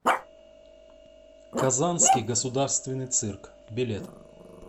казанский государственный цирк билет